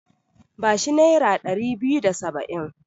Ba shi nera ɗari biyu da saba'in.